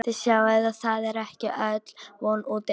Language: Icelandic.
Þið sjáið að það er ekki öll von úti enn.